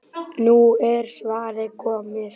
Nú er svarið komið.